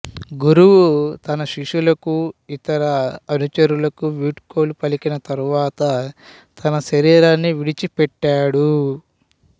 గురువు తన శిష్యులకు ఇతర అనుచరులకు వీడ్కోలు పలికిన తరువాత తన శరీరాన్ని విడిచిపెట్టాడు